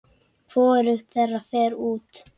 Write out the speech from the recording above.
Hvorugt þeirra fer út.